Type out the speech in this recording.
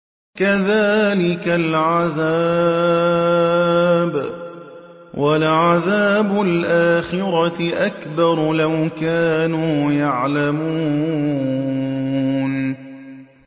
كَذَٰلِكَ الْعَذَابُ ۖ وَلَعَذَابُ الْآخِرَةِ أَكْبَرُ ۚ لَوْ كَانُوا يَعْلَمُونَ